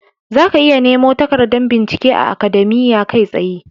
Zaka iya nemo takardar bincike a Akademiya kai tsaye.